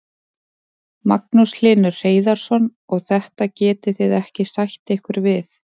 Magnús Hlynur Hreiðarsson: Og þetta getið þið ekki sætt ykkur við?